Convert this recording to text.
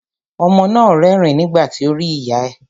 Ọmọ náà rẹ́rìn nígbà tí ó rí ìyá ẹ̀.